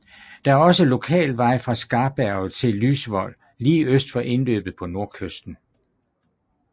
Der er også lokal vej fra Skarberget til Lysvoll lige øst for indløbet på nordkysten